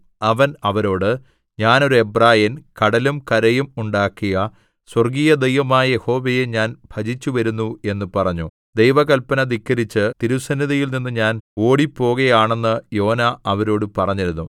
അവൻ അവരോട് ഞാൻ ഒരു എബ്രായൻ കടലും കരയും ഉണ്ടാക്കിയ സ്വർഗ്ഗീയദൈവമായ യഹോവയെ ഞാൻ ഭജിച്ചുവരുന്നു എന്നു പറഞ്ഞു ദൈവകൽപ്പന ധിക്കരിച്ച് തിരുസന്നിധിയിൽനിന്ന് താൻ ഓടിപ്പോകയാണെന്ന് യോന അവരോട് പറഞ്ഞിരുന്നു